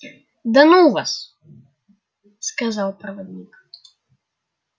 да ну вас сказал проводник